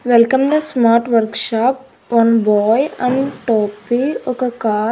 Welcome the smart workshop one boy and టోపీ ఒక car .